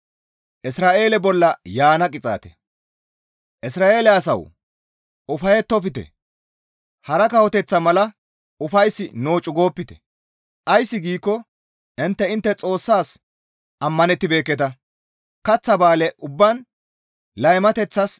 Isra7eele asawu! Ufayettofte! Hara kawoteththata mala ufays nococu goopite! Ays giikko intte intte Xoossas ammanettibeekketa; kaththa bale ubbaan laymateththas